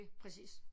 Præcis